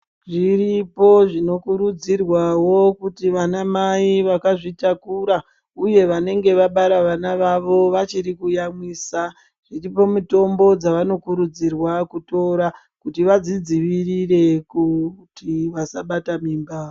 Zviripo zvinokurudzirwawo kuti vanamai vakazvitakura uye vanaenge vabara vana vavo vachiri kuyamwisa dziripo mitombo dzavanokurudzirwa kutora kuti vazvidzivirire kuti vasabata mimba.